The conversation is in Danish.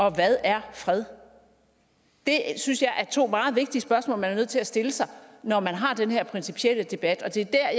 og hvad er fred det synes jeg er to meget vigtige spørgsmål man er nødt til at stille sig når man har den her principielle debat og det er